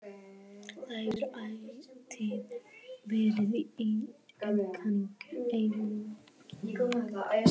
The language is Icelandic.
Það hefur ætíð verið í einkaeigu